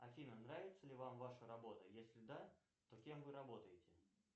афина нравится ли вам ваша работа если да то кем вы работаете